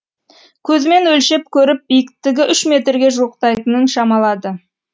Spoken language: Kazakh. көзімен өлшеп көріп биіктігі үш метрге жуықтайтынын шамалады